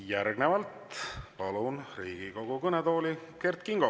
Järgnevalt palun Riigikogu kõnetooli Kert Kingo.